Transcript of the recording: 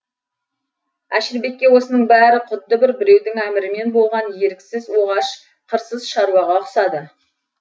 әшірбекке осының бәрі құдды бір біреудің әмірімен болған еріксіз оғаш қырсыз шаруаға ұқсады